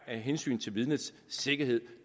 af hensyn til vidnets sikkerhed